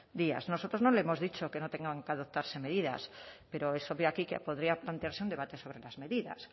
días nosotros no le hemos dicho que no tengan que adoptarse medidas pero es obvio aquí que podría plantearse un debate sobre las medidas